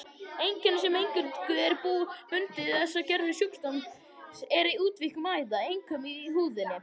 Einkenni sem eingöngu er bundið þessari gerð sjúkdómsins er útvíkkun æða, einkum í húðinni.